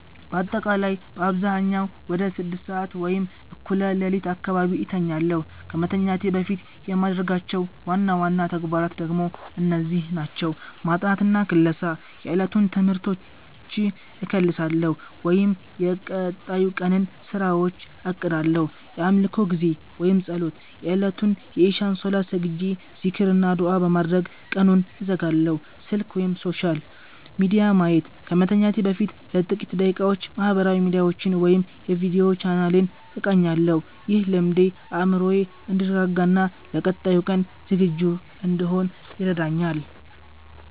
ባጠቃላይ በአብዛኛው ወደ 6:00 ሰዓት (እኩለ ሌሊት) አካባቢ እተኛለሁ። ከመተኛቴ በፊት የማደርጋቸው ዋና ዋና ተግባራት ደግሞ እነዚህ ናቸው፦ ማጥናትና ክለሳ፦ የዕለቱን ትምህርቶች እከልሳለሁ ወይም የቀጣይ ቀንን ስራዎች አቅዳለሁ። የአምልኮ ጊዜ (ፀሎት)፦ የእለቱን የኢሻእ ሰላት ሰግጄ፣ ዚክር እና ዱዓ በማድረግ ቀኑን እዘጋለሁ። ስልክ/ሶሻል ሚዲያ ማየት፦ ከመተኛቴ በፊት ለጥቂት ደቂቃዎች ማህበራዊ ሚዲያዎችን ወይም የቪዲዮ ቻናሌን እቃኛለሁ። ይህ ልምዴ አእምሮዬ እንዲረጋጋና ለቀጣዩ ቀን ዝግጁ እንድሆን ይረዳኛል።